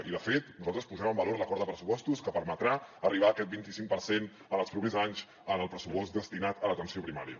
i de fet nosaltres posem en valor l’acord de pressupostos que permetrà arribar a aquest vinticinc per cent en els propers anys en el pressupost destinat a l’atenció primària